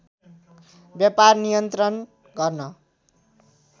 व्यापार नियन्त्रण गर्न